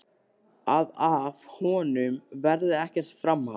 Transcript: Að af honum verði ekkert framhald.